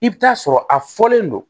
I bɛ taa sɔrɔ a fɔlen don